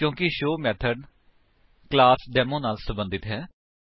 ਕਿਉਂਕਿ show method class demo ਨਾਲ ਸਬੰਧਤ ਹੈ